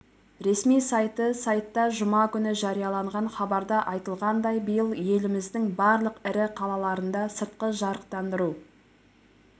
ресми сайты сайтта жұма күні жарияланған хабарда айтылғандай биыл еліміздің барлық ірі қалаларында сыртқы жарықтандыру